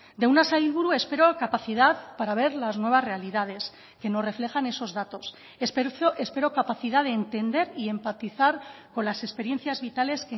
de una sailburu espero capacidad para ver las nuevas realidades que nos reflejan esos datos espero capacidad de entender y empatizar con las experiencias vitales